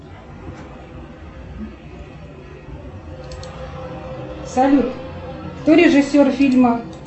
салют кто режиссер фильма